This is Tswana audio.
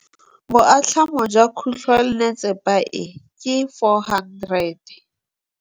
Boatlhamô jwa khutlonnetsepa e, ke 400.